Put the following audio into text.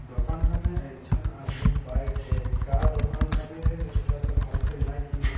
दोकान एक झन आदमी बाइठे का दोकान लागे हे इटा तो भाल से नाइ चिन्हात।